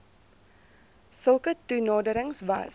sulke toenaderings was